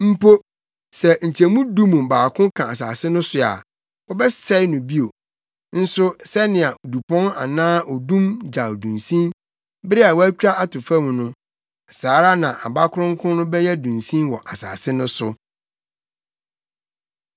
Mpo, sɛ nkyɛmu du mu baako ka asase no so a wɔbɛsɛe no bio. Nso sɛnea dupɔn anaa odum gyaw dunsin, bere a wɔatwa ato fam no, saa ara na aba kronkron no bɛyɛ dunsin wɔ asase no so.”